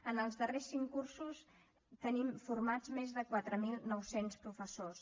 en els darrers cinc cursos tenim formats més de quatre mil nou cents professors